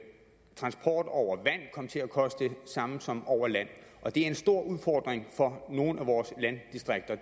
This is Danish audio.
transport over vand kom til at koste det samme som over land og en stor udfordring for nogle af vores landdistrikter